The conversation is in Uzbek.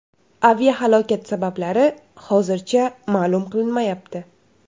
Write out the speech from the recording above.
Aviahalokat sabablari hozircha ma’lum qilinmayapti.